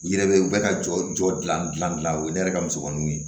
U yɛrɛ bɛ u bɛ ka jɔ jɔ dilan o ye ne yɛrɛ ka musomaninw ye